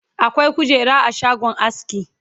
akwai kujera a shagon aski